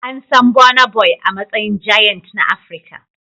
An san Burna Boy a matsayin giant na Afirka.